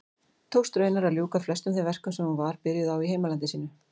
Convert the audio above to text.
Tókst raunar að ljúka flestum þeim verkum sem hún var byrjuð á í heimalandi sínu.